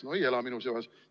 No ei ela minu peas!